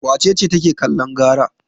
Wace ce take kallon gara?